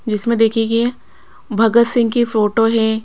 जिसमें देखिए कि भगत सिंह की फोटो है।